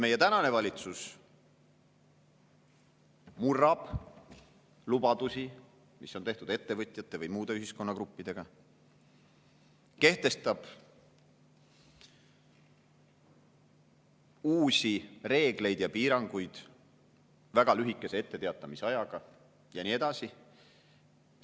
Meie tänane valitsus murrab lubadusi, mis on ettevõtjatele või muudele ühiskonnagruppidele, kehtestab uusi reegleid ja piiranguid väga lühikese etteteatamisajaga ja nii edasi.